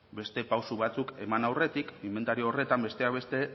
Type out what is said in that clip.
beste pausu batzuk eman aurretik inbentario horretan besteak beste